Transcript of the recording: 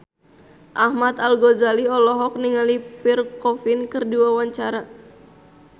Ahmad Al-Ghazali olohok ningali Pierre Coffin keur diwawancara